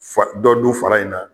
Fa dɔ dun fara in na